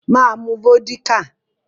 Mà á mu vódíkà.